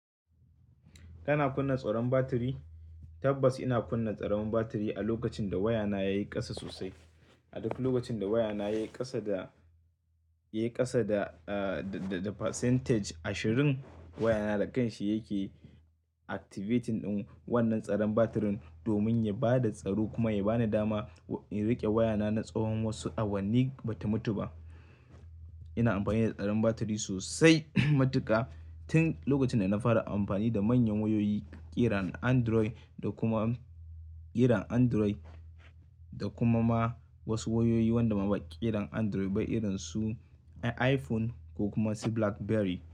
Kana kunna tsoron batiri? Tabbas ina kunna tsaron batiri a lokacin da wayana yayi kasa sosai. A duk lokacin da wayana yayi kasa da, yayi kasa da, da, da percentage ashirin wayana da kanshi yake activating ɗin wannan tsaron batirin domin ya bada tsaro kuma ya bani dama in riƙe wayana na tsawon wasu awanni bata mutu ba. Ina amfani da tsaron batiri sosai matuka tin lokacin da na fara amfani da manyan wayoyi irin Android da kuma ƙiran Android da kuma ma wasu wayoyi wanda ba ƙiran Android ba irin su iPhone ko kuma su Blackberry.